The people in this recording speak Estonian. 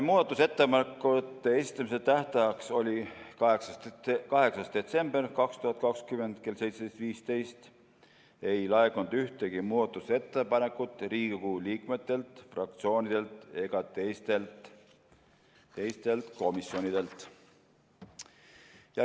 Muudatusettepanekute esitamise tähtajaks, mis oli 8. detsember 2020 kell 17.15, ei laekunud ühtegi muudatusettepanekut Riigikogu liikmetelt, fraktsioonidelt ega teistelt komisjonidelt.